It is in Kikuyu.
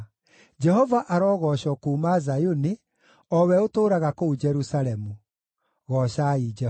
Jehova arogoocwo kuuma Zayuni, o we ũtũũraga kũu Jerusalemu. Goocai Jehova.